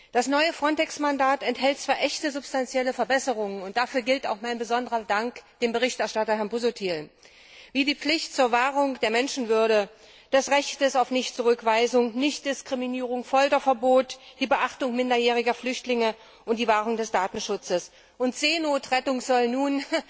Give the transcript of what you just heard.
Das neue FRONTEX Mandat enthält zwar echte substanzielle Verbesserungen und dafür gilt mein besonderer Dank dem Berichterstatter, Herrn Busuttil wie die Pflicht zur Wahrung der Menschenwürde, das Recht auf Nichtzurückweisung, Nichtdiskriminierung, Folterverbot, die Beachtung minderjähriger Flüchtlinge und die Wahrung des Datenschutzes Seenotrettung soll nun